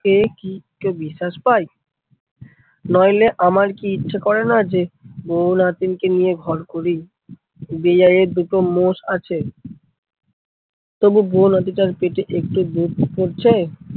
কে কি কেউ বিশ্বাস পায়, নইলে আমার কি ইচ্ছা করেনা যে বউ নাতিনকে নিয়ে ঘর করি? বেয়াই এর দুটো মোষ আছে। তবু বউ নাতিটার পেতে একটু দুধ পড়ছে।